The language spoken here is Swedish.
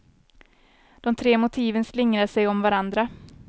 De tre motiven slingrar sig om varandra.